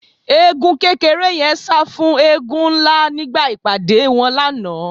Eégún kékeré yẹn sá fún eégún ńlá nígbà ìpàdé wọn lánàá